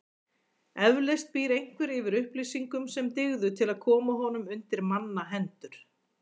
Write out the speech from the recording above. Eflaust býr einhver yfir upplýsingum sem dygðu til að koma honum undir manna hendur.